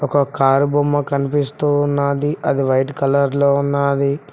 ఒక కారు బొమ్మ కనిపిస్తూ ఉన్నది అది వైట్ కలర్ లో ఉన్నది